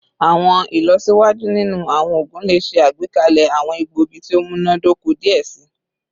Awọn ilọsiwaju ninu awọn oogun le ṣe agbekalẹ awọn egboogi ti o munadoko diẹ sii